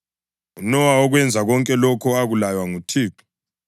UNowa wakwenza konke lokho akulaywa nguThixo.